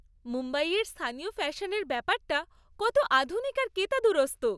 মুম্বইয়ের স্থানীয় ফ্যাশনের ব্যাপারটা কত আধুনিক আর কেতাদুরস্ত।